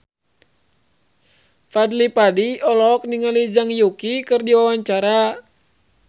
Fadly Padi olohok ningali Zhang Yuqi keur diwawancara